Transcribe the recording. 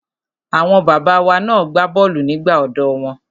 Àwọn bàbá wa na gbá bọ́ọ̀lù nígbà ọ̀dọ́ wọn.